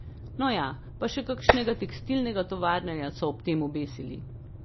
No ja, pa še kakšnega tekstilnega tovarnarja so ob tem obesili.